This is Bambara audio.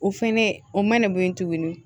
O fɛnɛ o mana bɔ yen tuguni